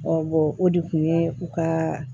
o de kun ye u ka